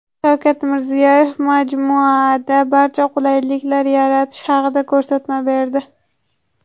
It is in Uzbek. Shavkat Mirziyoyev majmuada barcha qulayliklarni yaratish haqida ko‘rsatma berdi.